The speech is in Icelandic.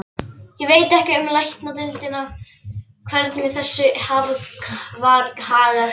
Ég veit ekki um Læknadeildina, hvernig þessu var hagað þar.